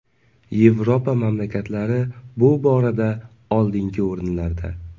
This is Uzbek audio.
Yevropa mamlakatlari bu borada oldingi o‘rinlarda”.